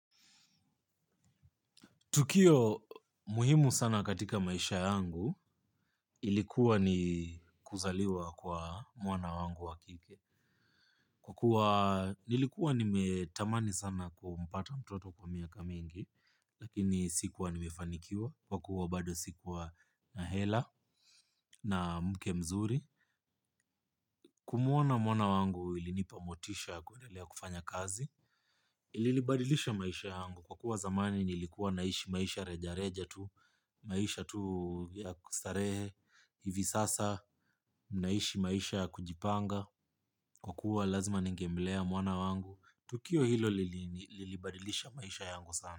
Tukio muhimu sana katika maisha yangu ilikuwa ni kuzaliwa kwa mwana wangu wa kike. Kwa kuwa, nilikuwa nimetamani sana kumpata mtoto kwa miaka mingi, lakini sikuwa nimefanikiwa, kwa kuwa bado sikuwa na hela na mke mzuri. Kumuona mwana wangu ilinipa motisha kuendelea kufanya kazi. Iilibadilisha maisha yangu kwa kuwa zamani nilikuwa naishi maisha reja reja tu, maisha tu ya kustarehe hivi sasa naishi maisha ya kujipanga kwa kuwa lazima ningemlea mwana wangu tukio hilo lilibadilisha maisha yangu sana.